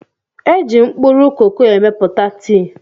É jị mkpụrụ koko emepụta tii